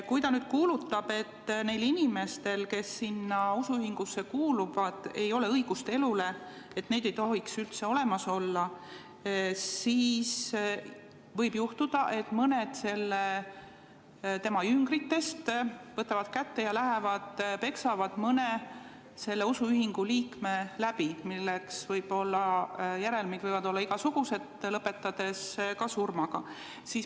Kui ta kuulutab, et neil inimestel, kes sinna usuühingusse kuuluvad, ei ole õigust elule ja neid ei tohiks üldse olemaski olla, siis võib juhtuda, et mõned tema jüngrid võtavad kätte ja lähevad peksavad mõne selle usuühingu liikme läbi, mille järelmid võivad olla igasugused, ka surm.